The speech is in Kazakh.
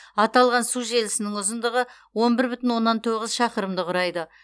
аталған су желісінің ұзындығы он бір бүтін оннан тоғыз шақырымды құрайды